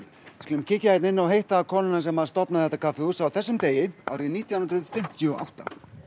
skulum kíkja hérna inn og hitta konuna sem stofnaði þetta kaffihús á þessum degi árið nítján hundruð fimmtíu og átta